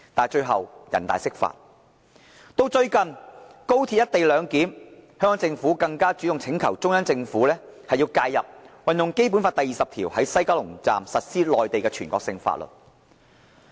最近，就"一地兩檢"安排，香港政府更主動請求中央政府介入，運用《基本法》第二十條，在西九龍站實施內地全國性法律。